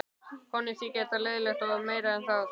Honum þyki þetta leiðinlegt og meira en það.